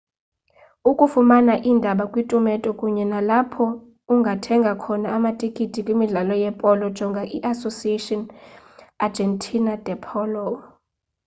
ukufumana iindaba kwiitumente kunye nalapho ungathenga khona amatikiti kwimidlalo yepolo jonga iasociacion argentina de polo